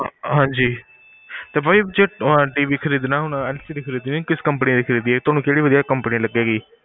ਹਾਂਜੀ ਤੇ ਭਾਜੀ ਜਿਦਾਂ ਹੁਣ TV ਖਰੀਦਣਾ LCD ਹੋਣਾ ਕਿਸ company ਦੀ ਖ਼੍ਰੀਦੀਏ ਤੁਹਾਨੂੰ ਕਿਹੜੀ ਵਧਿਆ company ਲਗੇਗੀ